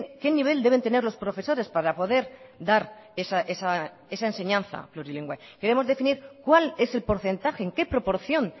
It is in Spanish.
qué nivel deben tener los profesores para poder dar esa enseñanza plurilingüe queremos definir cuál es el porcentaje en qué proporción